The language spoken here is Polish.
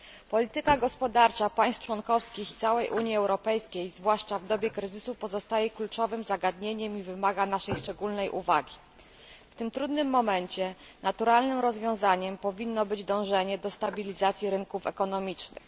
Polityka gospodarcza państw członkowskich i całej Unii Europejskiej zwłaszcza w dobie kryzysu pozostaje kluczowym zagadnieniem i wymaga naszej szczególnej uwagi. W tym trudnym momencie naturalnym rozwiązaniem powinno być dążenie do stabilizacji rynków ekonomicznych.